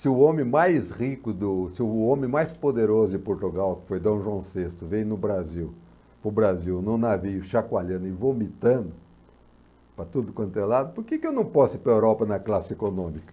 Se o homem mais rico do, se o homem mais poderoso de Portugal, que foi dom João sexto, vem no Brasil, para o Brasil num navio chacoalhando e vomitando para tudo quanto é lado, por que que eu não posso ir para a Europa na classe econômica?